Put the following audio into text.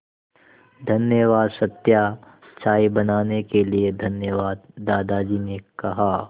धन्यवाद सत्या चाय बनाने के लिए धन्यवाद दादाजी ने कहा